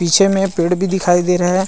पीछे में पेड़ भी दिखाई दे रहा है।